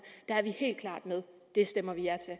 der er vi helt klart med og det stemmer vi ja til